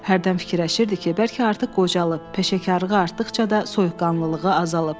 Hərdən fikirləşirdi ki, bəlkə artıq qocalıb, peşəkarlığı artdıqca da soyuqqanlılığı azalıb.